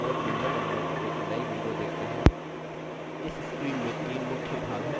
इस screen में this मुख्य भाग हैं